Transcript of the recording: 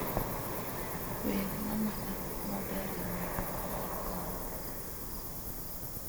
wer mamana maberie moloyo mar mor